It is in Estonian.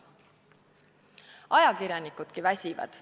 Ajakirjanikudki väsivad.